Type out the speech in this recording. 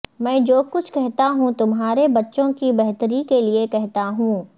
میں جو کچھ کہتا ہوں تمہارے بچوں کی بہتری کے لئے کہتا ہوں